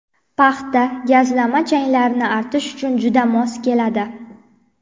Paxta gazlama changlarni artish uchun juda mos keladi.